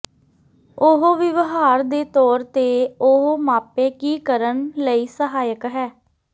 ਉਹ ਵਿਵਹਾਰ ਦੇ ਤੌਰ ਤੇ ਉਹ ਮਾਪੇ ਕੀ ਕਰਨ ਲਈ ਸਹਾਇਕ ਹੈ